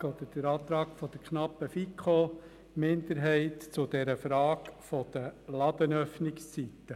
Ich begründe den Antrag der knappen FiKo-Minderheit zur Frage der Ladenöffnungszeiten.